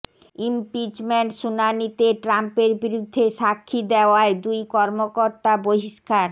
impeachment শুনানিতে ট্রাম্পের বিরুদ্ধে সাক্ষী দেয়ায় দুই কর্মকর্তা বহিষ্কার